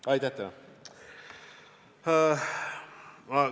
Aitäh teile!